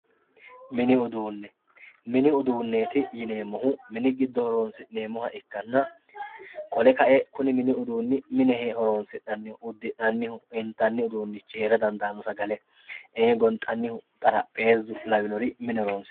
mini uduunne mini uduunneeti yineemmohu mini giddo horonsi'neemmoha ikkanna qole kae kuni mini uduunni mine horonsi'neemmoho uddi'nanniho intannihu heera dandaanno sagale ee gonxannihu xarapheezu lawinore mine horonsi'nanni.